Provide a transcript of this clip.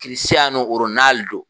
Kirisiyano Ronalido!